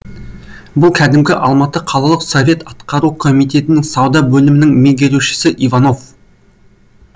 бұл кәдімгі алматы қалалық совет атқару комитетінің сауда бөлімінің меңгерушісі иванов